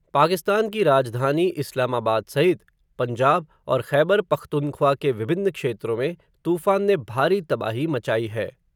पाकिस्तान की राजधानी इस्लामाबाद सहित, पंजाब, और ख़ैबर पख्तूनख्वा के विभिन्न क्षेत्रों में, तूफ़ान ने भारी तबाही मचाई है.